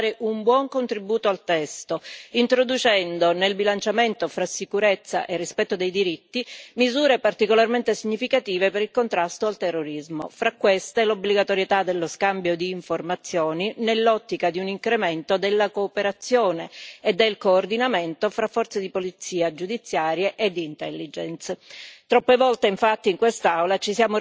Ritengo che come Parlamento siamo riusciti a dare un buon contributo al testo, introducendo nel bilanciamento fra sicurezza e rispetto dei diritti misure particolarmente significative per il contrasto al terrorismo, tra cui l'obbligatorietà dello scambio di informazioni, nell'ottica di un incremento della cooperazione e del coordinamento fra forze di polizia giudiziaria e di intelligence.